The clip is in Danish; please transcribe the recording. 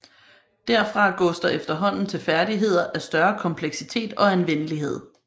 Derfra gås der efterhånden til færdigheder af større kompleksitet og anvendelighed